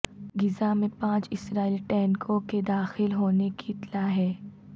غزہ میں پانچ اسرائیلی ٹینکوں کے داخل ہونے کی اطلاع ہے